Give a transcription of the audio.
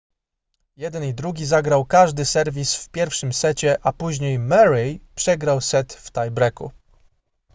jeden i drugi zagrał każdy serwis w pierwszym secie a później murray przegrał set w tie breaku